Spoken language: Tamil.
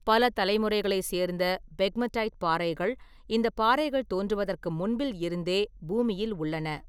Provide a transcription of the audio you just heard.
பல தலைமுறைகளை சேர்ந்த பெக்மடைட் பாறைகள் இந்தப் பாறைகள் தோன்றுவதற்கு முன்பில் இருந்தே பூமியில் உள்ளன.